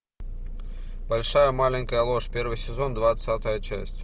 большая маленькая ложь первый сезон двадцатая часть